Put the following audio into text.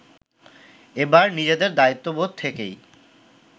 এবার নিজেদের দায়িত্ববোধ থেকেই